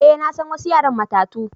Eh, na san wassu yaran matatu.